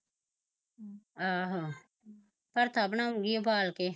ਆਹੋ ਪੜਥਾ ਬਣਾਊਗੀ ਉਬਾਲ ਕੇ